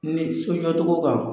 N'i so jɔ cogo kan